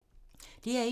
DR1